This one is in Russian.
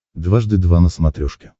дважды два на смотрешке